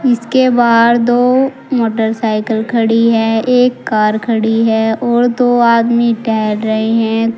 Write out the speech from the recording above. इसके बाहर दो मोटरसाइकिल खड़ी है एक कार खड़ी है और दो आदमी टहल रहे हैं।